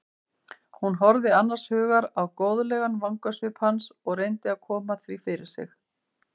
Hún horfði annars hugar á góðlegan vangasvip hans og reyndi að koma því fyrir sig.